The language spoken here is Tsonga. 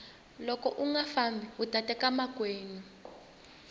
loko unga fambi uta teka makwenu